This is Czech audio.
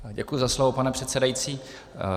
Děkuji za slovo, pane předsedající.